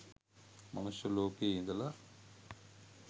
මනුෂ්‍ය ලෝකයෙ ඉඳල